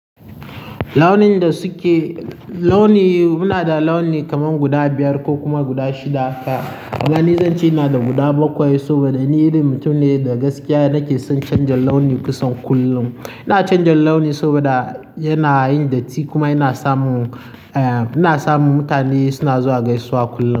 Launin da suke, launi muna da launi kaman guda biyar ko kuma guda shida. Kuma ni, zance ina da guda bakwai saboda ni din mutum ne da gaskiya nake son canja launi kusan kullum. Ina canja launi saboda yana yin datti kuma yana samu, eh, ina samu mutane suna zuwa gaisuwa kullum.